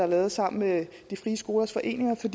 lavet sammen med de frie skolers foreninger for